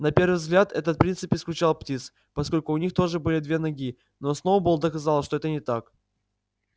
на первый взгляд этот принцип исключал птиц поскольку у них тоже были две ноги но сноуболл доказал что это не так